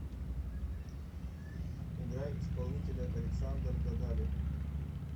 играй исполнителя александр дадали